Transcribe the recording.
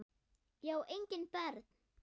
Ég á engin börn!